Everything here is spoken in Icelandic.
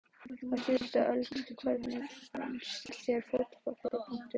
Á síðustu öld Hvernig finnst þér Fótbolti.net?